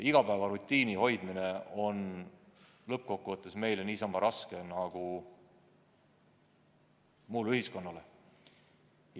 Igapäevarutiini hoidmine on lõppkokkuvõttes meile niisama raske nagu muule ühiskonnale.